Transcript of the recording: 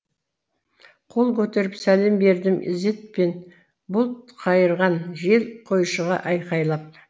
қол көтеріп сәлем бердім ізетпен бұлт қайырған жел қойшыға айқайлап